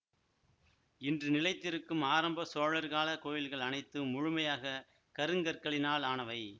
இன்று நிலைத்திருக்கும் ஆரம்ப சோழர் கால கோயில்கள் அனைத்தும் முழுமையாக கருங்கற்களினால் ஆனவை